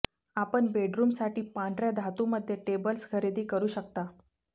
आपण बेडरूमसाठी पांढर्या धातूमध्ये टेबल्स खरेदी करू शकता